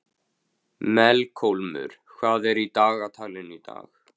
Melkólmur, hvað er í dagatalinu í dag?